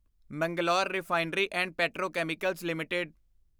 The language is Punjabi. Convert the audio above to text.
Mangalore refinery and petrochemicals LTD